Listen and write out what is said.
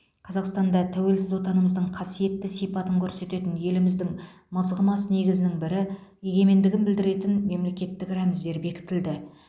қазақстанда тәуелсіз отанымыздың қасиетті сипатын көрсететін еліміздің мызғымас негізінің бірі егемендігін білдіретін мемлекеттік рәміздер бекітілді